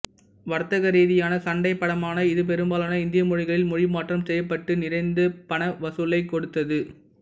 வர்த்தகரீதியான சண்டைப் படமான இது பெரும்பாலான இந்திய மொழிகளில் மொழிமாற்றம் செய்யப்பட்டு நிறைந்த பணவசூலைக் கொடுத்தது